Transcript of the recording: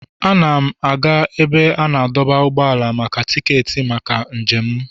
Ana m aga ebe a na-adọba ụgbọala maka tiketi maka njem m.